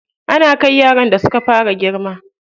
Ana kai yaran da suka fara girma.